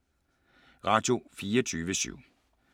Radio24syv